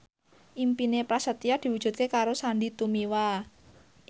impine Prasetyo diwujudke karo Sandy Tumiwa